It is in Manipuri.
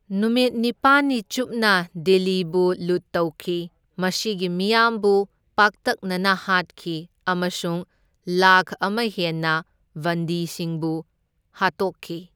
ꯅꯨꯃꯤꯠ ꯅꯤꯄꯥꯟꯅꯤ ꯆꯨꯞꯅ ꯗꯤꯜꯂꯤꯕꯨ ꯂꯨꯠ ꯇꯧꯈꯤ, ꯃꯁꯤꯒꯤ ꯃꯤꯌꯥꯝꯕꯨ ꯄꯥꯛꯇꯛꯅꯅ ꯍꯥꯠꯈꯤ ꯑꯃꯁꯨꯡ ꯂꯥꯛꯈ ꯑꯃ ꯍꯦꯟꯅ ꯕꯟꯗꯤꯁꯤꯡꯕꯨ ꯍꯥꯠꯇꯣꯛꯈꯤ꯫